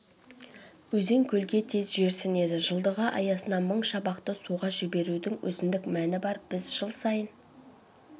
өзен-көлге тез жерсінеді жылдығы аясында мың шабақты суға жіберудің өзіндік мәні бар біз жыл сайын